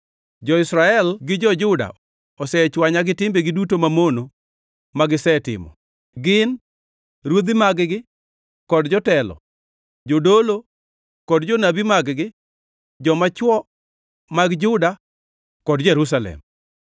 Jo-Israel gi jo-Juda osechwanya gi timbegi duto mamono magisetimo, gin ruodhi mag-gi kod jotelo, jodolo kod jonabi mag-gi, joma chwo mag Juda kod Jerusalem.